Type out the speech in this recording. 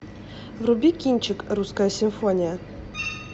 вруби кинчик русская симфония